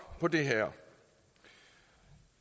på det her